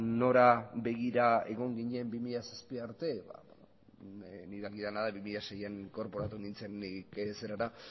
nora begira egon ginen bi mila zazpira arte ba ni dakidana da bi mila seian inkorporatu nintzen nik